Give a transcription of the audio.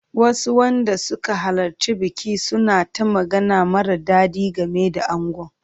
Wasu wanda suka halarci bikin suna ta magana mara daɗi game da angon.